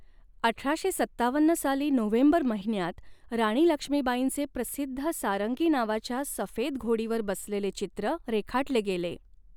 अठराशे सत्तावन्न साली नोव्हेंबर महिन्यात राणी लक्ष्मीबाईंचे प्रसिद्ध सारंगी नावाच्या सफेद घोडीवर बसलेले चित्र रेखाटले गेले.